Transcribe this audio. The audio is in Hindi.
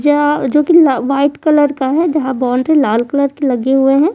या जो कि ला व्हाइट कलर का है जहां बाउंड्री लाल कलर के लगे हुए हैं।